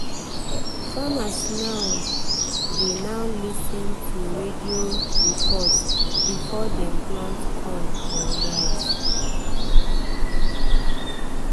farmers now dey now dey lis ten to radio rain report before dem plant corn or rice.